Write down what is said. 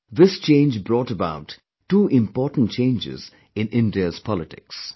This change brought about two important changes in India's politics